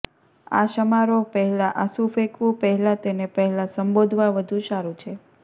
આ સમારોહ પહેલાં આંસુ ફેંકવું પહેલાં તેને પહેલાં સંબોધવા વધુ સારું છે